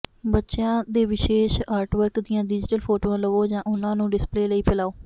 ਬੱਚਿਆਂ ਦੇ ਵਿਸ਼ੇਸ਼ ਆਰਟਵਰਕ ਦੀਆਂ ਡਿਜੀਟਲ ਫੋਟੋ ਲਵੋ ਜਾਂ ਉਹਨਾਂ ਨੂੰ ਡਿਸਪਲੇ ਲਈ ਫੈਲਾਓ